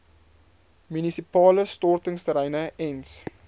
munisipale stortingsterreine ens